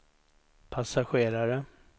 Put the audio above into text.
passagerare